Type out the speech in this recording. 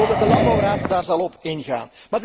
Ik hoop dat de landbouwraad daarop zal ingaan.